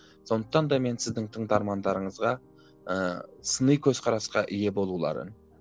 сондықтан да мен сіздің тыңдармандарыңызға ыыы сыни көзқарасқа ие болуларын